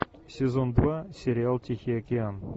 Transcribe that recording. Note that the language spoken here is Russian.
сезон два сериал тихий океан